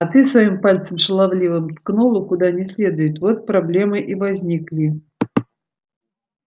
а ты своим пальцем шаловливым ткнула куда не следует вот проблемы и возникли